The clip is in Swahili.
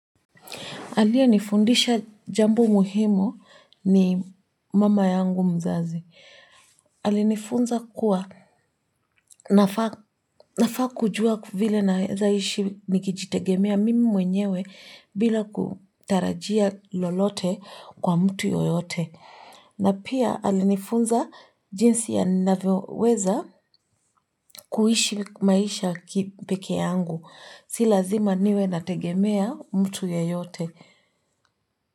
Aliyenifundisha jambo muhimu ni mama yangu mzazi. Alinifunza kuwa nafaa kujua vile naweza ishi nikijitegemea mimi mwenyewe bila kutarajia lolote kwa mtu yoyote. Na pia alinifunza jinsi ya ninavyoweza kuishi maisha kipekee yangu. Si lazima niwe nategemea mtu yeyote.